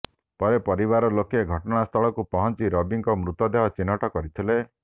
ପରେ ପରିବାର ଲୋକେ ଘଟଣାସ୍ଥଳକୁ ପହଞ୍ଚି ରବିଙ୍କ ମୃତଦେହ ଚିହ୍ନଟ କରିଥିଲେ